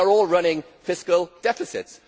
They are all running fiscal deficits.